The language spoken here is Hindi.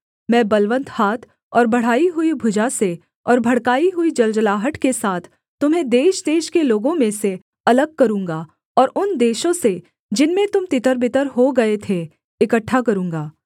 मैं बलवन्त हाथ और बढ़ाई हुई भुजा से और भड़काई हुई जलजलाहट के साथ तुम्हें देशदेश के लोगों में से अलग करूँगा और उन देशों से जिनमें तुम तितरबितर हो गए थे इकट्ठा करूँगा